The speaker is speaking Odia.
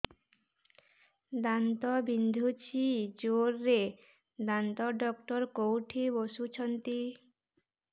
ଦାନ୍ତ ବିନ୍ଧୁଛି ଜୋରରେ ଦାନ୍ତ ଡକ୍ଟର କୋଉଠି ବସୁଛନ୍ତି